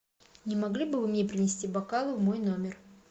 не могли бы вы мне принести бокалы в мой номер